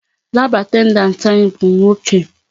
Lab attendant anyị bụ nwoke.